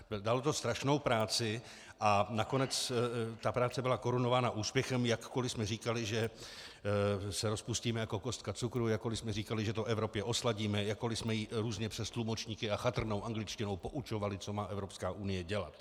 Dalo to strašnou práci a nakonec ta práce byla korunována úspěchem, jakkoli jsme říkali, že se rozpustíme jako kostka cukru, jakkoli jsme říkali, že to Evropě osladíme, jakkoli jsme ji různě přes tlumočníky a chatrnou angličtinou poučovali, co má Evropská unie dělat.